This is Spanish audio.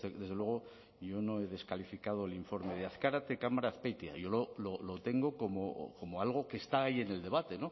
desde luego yo no he descalificado el informe de azkarate cámara azpeitia yo lo tengo como algo que está ahí en el debate